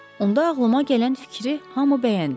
Onda ağlıma gələn fikri hamı bəyəndi.